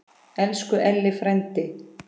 Elsku Elli frændi.